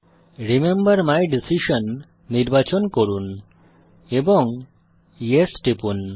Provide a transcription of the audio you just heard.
remember my decision নির্বাচন করুন এবং য়েস টিপুন